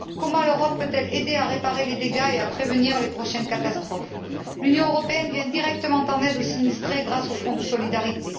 Comment l'Europe peut elle aider à réparer les dégâts et à prévenir les prochaines catastrophes? L'Union européenne vient directement en aide aux sinistrés grâce au Fonds de solidarité.